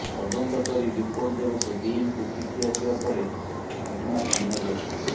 ତଦନ୍ତ କରି ରିପୋର୍ଟ ଦେବାକୁ ଡିନ୍ ଙ୍କୁ ଚିଠି ଆସିବା ପରେ ଘଟଣା ସାମ୍ନାକୁ ଆସିଛି